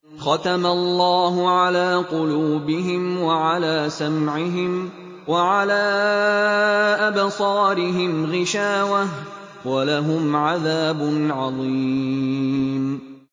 خَتَمَ اللَّهُ عَلَىٰ قُلُوبِهِمْ وَعَلَىٰ سَمْعِهِمْ ۖ وَعَلَىٰ أَبْصَارِهِمْ غِشَاوَةٌ ۖ وَلَهُمْ عَذَابٌ عَظِيمٌ